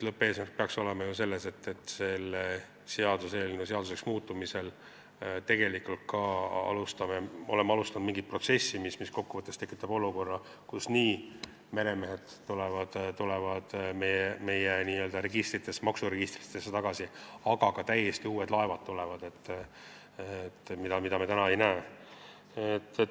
Lõppeesmärk peaks ju olema see, et selle seaduseelnõu seaduseks muutmisel me alustame mingit protsessi, mis kokku võttes tekitab olukorra, kus meremehed tulevad tagasi meie maksuregistritesse ja lisaks tulevad sinna ka täiesti uued laevad, mida me seal praegu ei näe.